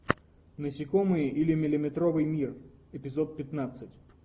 насекомые или миллиметровый мир эпизод пятнадцать